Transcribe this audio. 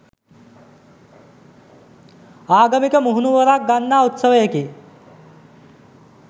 ආගමික මුහුණුවරක් ගන්නා උත්සවයකි